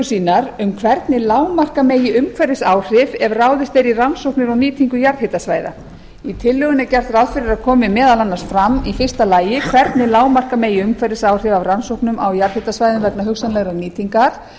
sínar um hvernig lágmarka megi umhverfisáhrif ef ráðist er í rannsóknir og nýtingu jarðhitasvæða í tillögunnar er gert ráð fyrir að komi meðal annars fram fyrstu hvernig lágmarka megi umhverfisáhrif af rannsóknum á jarðhitasvæðum vegna hugsanlegrar nýtingar